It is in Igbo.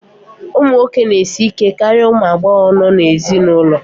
ụmụ nwoke na-esi ike karịa ụmụ agbọghọ nọ n'ezinụlọ